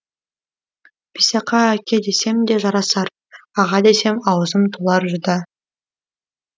бисақа әке десем де жарасар аға десем аузым толар жүдә